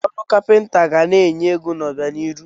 Ọrụ kapịnta ga na-enye ego n'obianihu.